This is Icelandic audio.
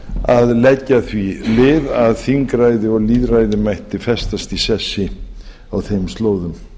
að leggja því lið að þingræði og lýðræði mætti festast í sessi á þeim slóðum